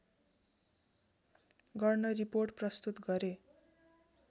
गर्न रिपोर्ट प्रस्तुत गरे